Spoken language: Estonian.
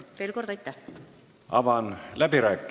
Veel kord aitäh!